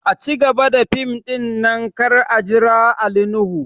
A cigaba da fim ɗin nan kar a jira Ali nuhu!